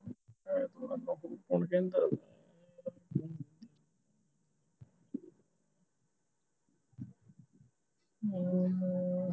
ਹਮ